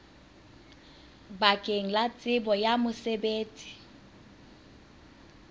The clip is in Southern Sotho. bakeng la tsebo ya mosebetsi